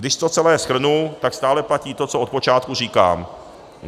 Když to celé shrnu, tak stále platí to, co od počátku říkám.